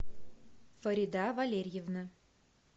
фарида валерьевна